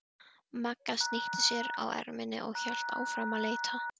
Magga snýtti sér á erminni og hélt áfram að leita.